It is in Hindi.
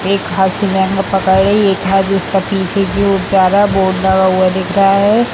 एक हाथ से लहँगा पकड़ी एक हाथ उसका पीछे की ओर जा रहा है बोर्ड लगा हुआ दिख रहा है।